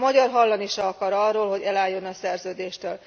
A magyar hallani sem akar arról, hogy elálljon a szerződéstől.